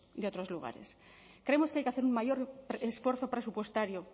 de otros lugares creemos que hay que hacer un mayor esfuerzo presupuestario